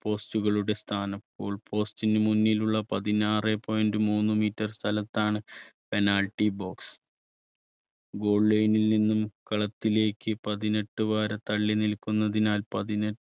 post കളുടെ സ്ഥാനം. goal post നു മുന്നിലുള്ള പതിനാറേ point മൂന്ന് meter സ്ഥലത്താണ് penalty box. goal line ൽ നിന്നും കളത്തിലേക്ക് പതിനെട്ട് വാര തള്ളി നിൽക്കുന്നതിനാൽ പതിനെ